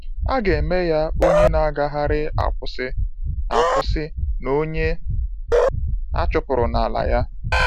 A ga-eme ya onye na-agagharị akwụsị akwụsị na onye achụpụrụ n'ala ya.